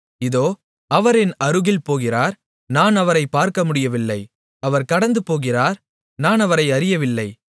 இதோ அவர் என் அருகில் போகிறார் நான் அவரைப் பார்க்கமுடியவில்லை அவர் கடந்துபோகிறார் நான் அவரை அறியவில்லை